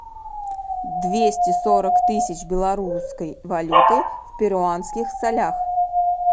двести сорок тысяч белорусской валюты в перуанских солях